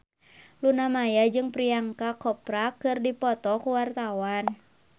Luna Maya jeung Priyanka Chopra keur dipoto ku wartawan